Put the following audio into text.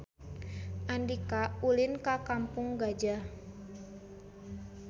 Andika ulin ka Kampung Gajah